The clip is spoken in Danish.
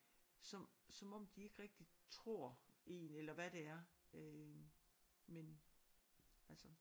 Så som om de ikke rigtig tror én eller hvad det er øh men altså